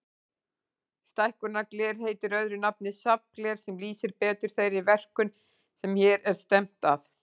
Stækkunargler heitir öðru nafni safngler, sem lýsir betur þeirri verkun sem hér er stefnt að.